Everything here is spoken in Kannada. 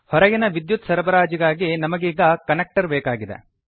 ಹೊರಗಿನ ವಿದ್ಯುತ್ ಸರಬರಾಜಿಗಾಗಿ ನಮಗೀಗ ಕನೆಕ್ಟರ್ ಬೇಕಾಗಿದೆ